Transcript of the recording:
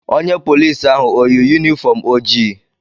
Onye polici ahụ o yi yunifọm ojii?